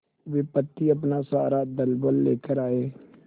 विपत्ति अपना सारा दलबल लेकर आए